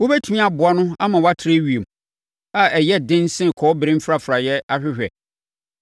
wobɛtumi aboa no ama watrɛ ewiem, a ɛyɛ dene sɛ kɔbere mfrafraeɛ ahwehwɛ?